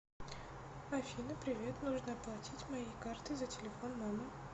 афина привет нужно оплатить моей картой за телефон мамы